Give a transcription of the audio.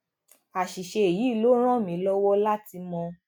àṣìṣe yìí ló ràn mí lọwọ láti mọ